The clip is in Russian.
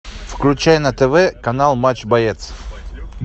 включай на тв канал матч боец